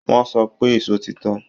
Wọ́n sọ pé ìṣó ti tán